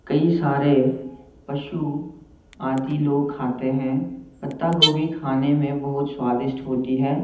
कई सारे पशु आदि लोग खाते हैं पत्ता गोभी खाने में बहुत स्वादिष्ट होती है।